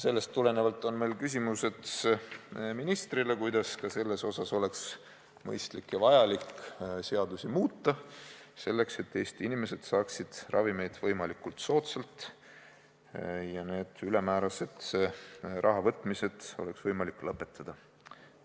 Sellest tulenevalt on meil ministrile küsimused selle kohta, kuidas oleks mõistlik ja vajalik seadusi muuta, nii et Eesti inimesed saaksid ravimeid võimalikult soodsalt ja oleks võimalik need ülemäärased rahavõtmised lõpetada.